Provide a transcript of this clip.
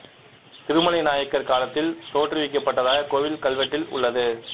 திருமலை நாயக்கர் காலத்தில் தோற்று விக்க பட்டதாக கோவில் கல் வீட்டில் உள்ளது